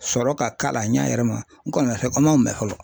Sɔrɔ ka k'a la a ɲɛ yɛrɛ ma n kɔni an ma o mɛn fɔlɔ .